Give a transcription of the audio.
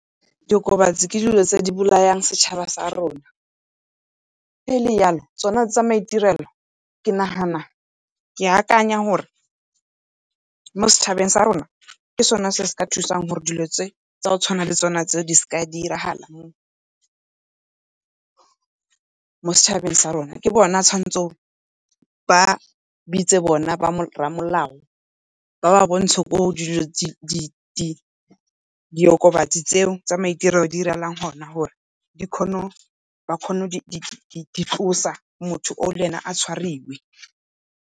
Diokobatsi ke dilo tse di bolayang setšhaba sa rona, e le yalo tsona tsa maitirelo ke akanya gore mo setšhabeng sa rona ke sona se se ka thusang gore dilo tse tsa go tshwana le tsona tseo di seka di a diragala mo setšhabeng sa rona. Ke bona ba ba tshwanetseng ba bitse bone bo rramolao ba ba bontshe, ko dilo diokobatsi tseo tsa maitirelo di diragalang gona gore ba kgone go di tlosa motho oo le ena a tshwariwe.